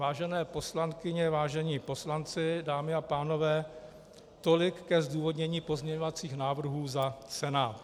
Vážené poslankyně, vážení poslanci, dámy a pánové, tolik ke zdůvodnění pozměňovacích návrhů za Senát.